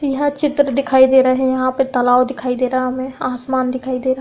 यहां चित्र दिखाई दे रहे हैं। यहां पर तालाब दिखाई दे रहा है हमें आसमान दिखाई दे --